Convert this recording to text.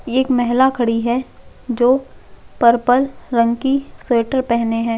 एक महिला खड़ी है जो पर्पल रंग की स्वेटर पहने है।